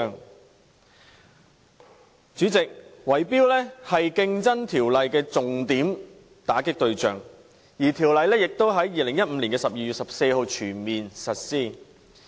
代理主席，圍標是《競爭條例》的重點打擊對象，而《條例》亦已在2015年12月14日全面實施。